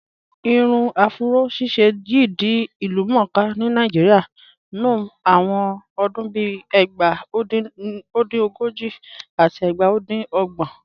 Irun afúró ṣíṣẹ̀ yìí di ilúmọ̀ọ́kà ni Naijíríà nọ̀ awọn ọdún bíì ẹgbá. O dín ogojì àti ẹgbá o dín ogbọn